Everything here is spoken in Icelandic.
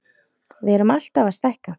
Við erum alltaf að stækka.